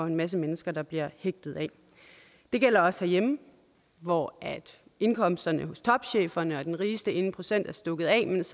en masse mennesker bliver hægtet af det gælder også herhjemme hvor indkomsterne hos topcheferne og den rigeste ene procent er stukket af mens